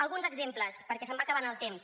alguns exemples perquè se’m va acabant el temps